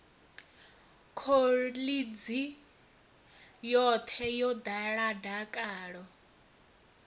khoḽidzhi yoṱhe yo ḓala dakalo